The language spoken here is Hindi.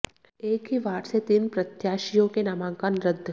एक ही वार्ड से तीन प्रत्याशियों के नामांकन रद्द